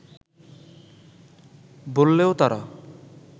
বললেও তারা